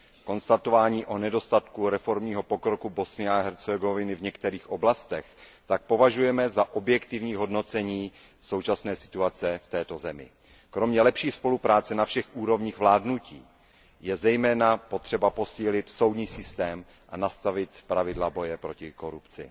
Konstatování o nedostatku reformního pokroku Bosny a Hercegoviny v některých oblastech tak považujeme za objektivní hodnocení současné situace v této zemi. Kromě lepší spolupráce na všech úrovních je zejména potřeba posílit soudní systém a nastavit pravidla boje proti korupci.